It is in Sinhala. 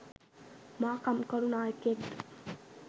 මා කම්කරු නායකයෙක් ද?